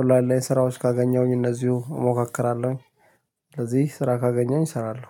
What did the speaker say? ኦላን ላይ ስራዎች ካገኘሁኝ እነዚህሁ እሞካክራለሁኝ። ስለዚህ ስራ ካገኘኝ እሰራለሁ